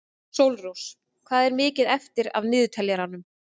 Sólrós, hvað er mikið eftir af niðurteljaranum?